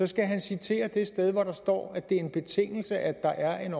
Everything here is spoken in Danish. skal han citere det sted hvor der står at det er en betingelse at der er en